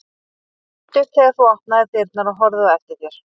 Ég leit upp þegar þú opnaðir dyrnar og horfði á eftir þér.